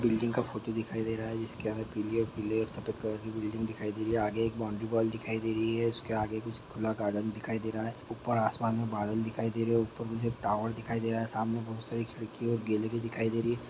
Building का photo दिखाई दे रहा है जिसकी आगे पीले अ पीले और सफेद कलर की बिल्डिंग दिखाई दे रही है आगे एक बाउंड्री बोल दिखाय दे रही है उसके आगे कुछ खुला गार्डन दिखाई दे रहा है ऊपर आसमान में बादल दिखाई दे रहे हो ऊपर में हे टावर दिखाय दे रहा है सामने बहोत सारी खिड़की और गेलेरी दिखाई दे रही है।